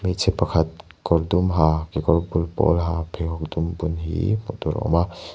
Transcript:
hmeichhe pakhat kawr dum ha kekawr bul pawl ha pheikhawk dum bun hiii hmuh tur a awm a.